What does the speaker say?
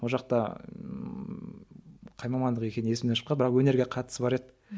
ол жақта қай мамандық екені есімнен шықпады бірақ өнерге қатысы бар еді